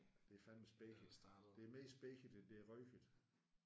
Det er fandeme speget det er mere speget end det er røget